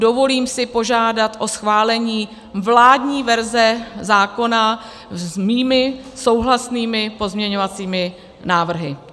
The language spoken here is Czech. Dovolím si požádat o schválení vládní verze zákona s mými souhlasnými pozměňovacími návrhy.